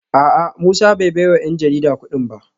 A’a Musa bai baiwa ‘yan jarida kudin ba